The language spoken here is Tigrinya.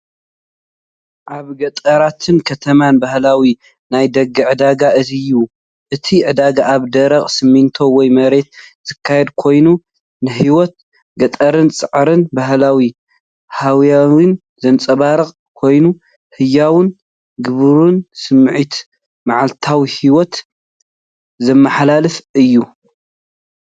ኣብ ገጠራትን ከተማን ባህላዊ ናይ ደገ ዕዳጋ እዩ። እቲ ዕዳጋ ኣብ ደረቕ ሲሚንቶ ወይ መሬት ዝካየድ ኮይኑ፡ ንህይወት ገጠርን ጻዕርን ባህላዊ ሃዋህውን ዘንጸባርቕ ኮይኑ፡ ህያውን ግብራውን ስምዒት መዓልታዊ ህይወት ዘመሓላልፍ እዩ።